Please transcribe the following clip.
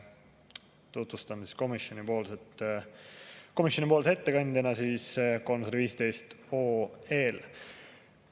Tutvustan komisjoni ettekandjana 315 OE‑d.